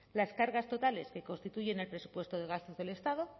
las cargas totales que constituyen el presupuesto de gasto del estado